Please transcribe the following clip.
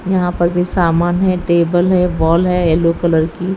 यहां पर भी सामान है टेबल है बॉल है येलो कलर की।